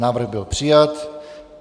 Návrh byl přijat.